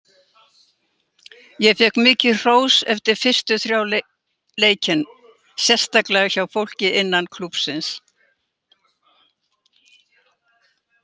Ég fékk mikið hrós eftir fyrstu þrjá leikin, sérstaklega hjá fólki innan klúbbsins.